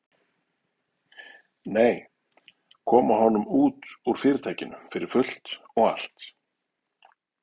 Nei, koma honum út úr Fyrirtækinu fyrir fullt og allt.